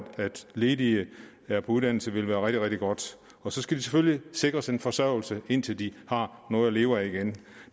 ledige er på uddannelse vil være rigtig rigtig godt og så skal de selvfølgelig sikres en forsørgelse indtil de har noget at leve af igen